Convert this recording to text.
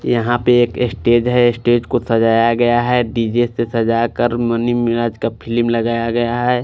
यहाँ पर एक स्टेज है स्टेज को सझाया गया है डी_जे से सझाकर का फिल्म लगाया गया है।